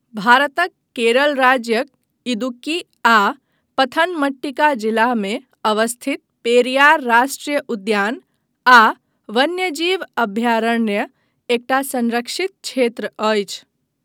भारतक केरल राज्यक इदुक्की आ पथनमथिट्टा जिलामे अवस्थित पेरियार राष्ट्रीय उद्यान आ वन्यजीव अभयारण्य एकटा संरक्षित क्षेत्र अछि।